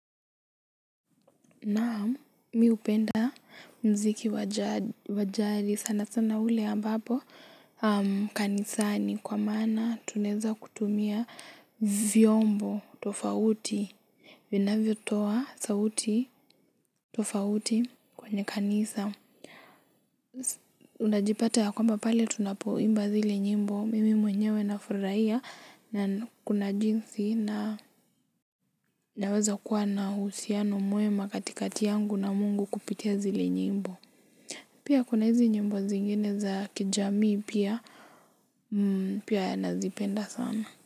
Naam mi hupenda muziki wa jari sana sana ule ambapo kanisani kwa maana tunaeza kutumia vyombo tofauti vinavyotoa sauti tofauti kwenye kanisa. Unajipata ya kwamba pale tunapoimba zile nyimbo. Mimi mwenyewe na furahia. Na kuna jinsi na naweza kuwa na uhusiano mwema katikati yangu na Mungu kupitia zile nyimbo. Pia kuna hizi nyimbo zingine za kijamii pia. Pia nazipenda sana.